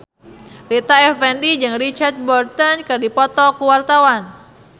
Rita Effendy jeung Richard Burton keur dipoto ku wartawan